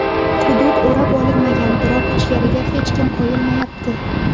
Hudud o‘rab olinmagan, biroq ichkariga hech kim qo‘yilmayapti.